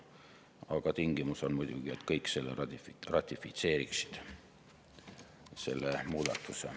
Aga tingimus on muidugi, et kõik selle muudatuse ratifitseeriksid.